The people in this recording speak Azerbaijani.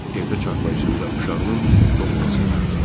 Evdə çarpayısında uşağının doğulmasını gözləyir.